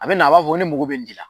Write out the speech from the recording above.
A bɛna a b'a fɔ ne mago bɛ ni ji la